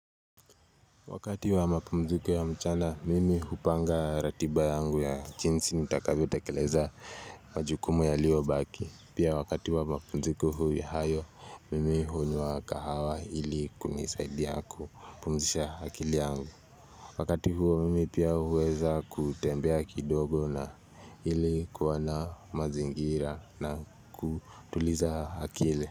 Wakati wa mapumziko ya mchana mimi hupanga ratiba yangu ya jinsi nitavyo tekeleza majukumu yaliyo baki pia wakati wa mapumziko huu hayo mimi hunywa kahawa ili kunisaidi kupumzisha akili yangu Wakati huo mimi pia huweza kutembea kidogo na ili kuoana mazingira na kutuliza akili.